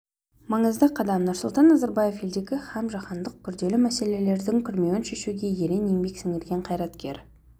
маңызды қадам нұрсұлтан назарбаев елдегі һәм жаһандық күрделі мәселелердің күрмеуін шешуге ерен еңбек сіңірген қайраткер